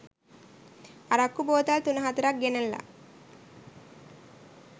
අරක්කු බෝතල් තුන හතරක් ගෙනල්ල